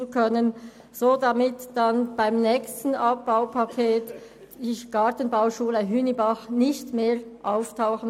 Damit sollte sie beim nächsten Sparpaket nicht mehr auftauchen.